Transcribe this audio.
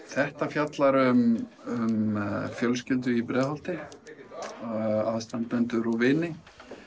þetta fjallar um fjölskyldu í Breiðholti aðstandendur og vini